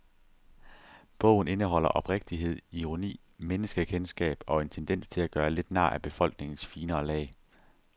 Bogen indeholder oprigtighed, ironi, menneskekendskab og en tendens til at gøre lidt nar af befolkningens finere lag.